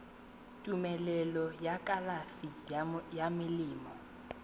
tumelelo ya kalafi ya melemo